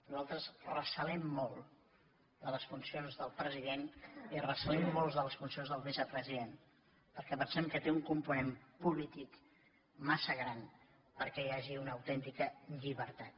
nosaltres recelem molt de les funcions del president i recelem molt de les funcions del vicepresident perquè pensem que té un component polític massa gran perquè hi hagi una autèntica llibertat